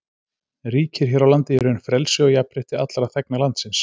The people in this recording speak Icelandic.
Ríkir hér á landi í raun frelsi og jafnrétti allra þegna landsins.